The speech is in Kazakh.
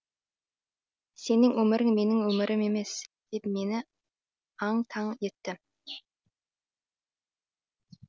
сенің өмірің менің өмірім емес деп мені аң таң етті